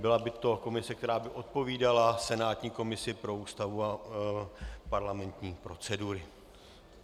Byla by to komise, která by odpovídala senátní komisi pro Ústavu a parlamentní procedury.